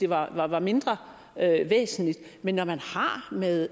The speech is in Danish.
var var mindre væsentligt men når man har med